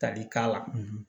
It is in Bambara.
Tali k'a la